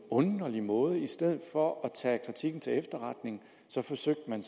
underlig måde i stedet for at tage kritikken til efterretning forsøgte man